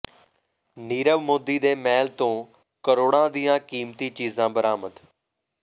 ਨੀਰਵ ਮੋਦੀ ਦੇ ਮਹਿਲ ਤੋਂ ਕਰੋੜਾਂ ਦੀਆਂ ਕੀਮਤੀ ਚੀਜ਼ਾਂ ਬਰਾਮਦ